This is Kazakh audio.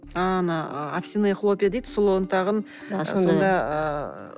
ааа ана овсяные хлопья дейді сұлы ұнтағын сонда ыыы